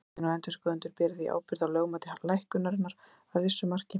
Stjórnin og endurskoðendur bera því ábyrgð á lögmæti lækkunarinnar að vissu marki.